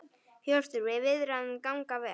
Hjörtur: Og viðræður ganga vel?